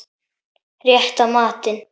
Rétta matinn.